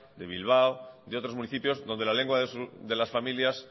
de bilbao de otros municipios donde la lengua de las familias